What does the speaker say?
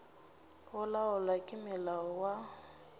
go laolwa ke molao wa